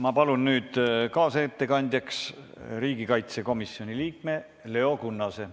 Ma palun nüüd kaasettekandjaks riigikaitsekomisjoni liikme Leo Kunnase.